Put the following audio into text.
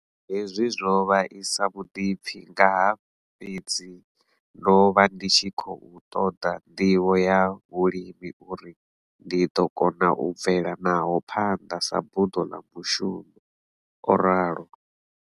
Hezwi zwo vhaisa vhuḓipfi ngaha fhedzi ndo vha ndi tshi khou ṱoḓa nḓivho ya vhulimi uri ndi ḓo kona u bvela naho phanḓa sa buḓo ḽa mushu mo, o ralo.